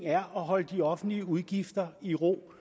er at holde de offentlige udgifter i ro